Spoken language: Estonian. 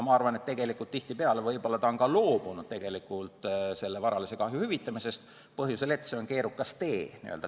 Ma arvan, et tihtipeale on ta ka loobunud oma varalise kahju hüvitisest, põhjusel, et see on keerukas tee.